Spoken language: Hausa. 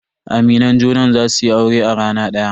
Aminan junan za su yi aure a rana daya.